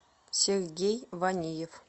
сергей ваниев